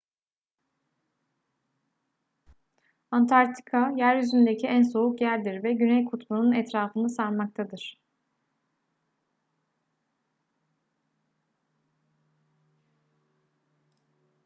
antarktika yeryüzündeki en soğuk yerdir ve güney kutbu'nun etrafını sarmaktadır